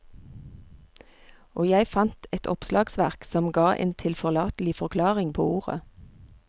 Og jeg fant et oppslagsverk som ga en tilforlatelig forklaring på ordet.